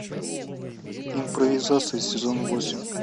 импровизация сезон восемь